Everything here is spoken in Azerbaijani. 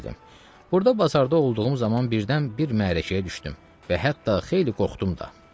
Burda bazarda olduğum zaman birdən bir məhərəkəyə düşdüm və hətta xeyli qorxdum da.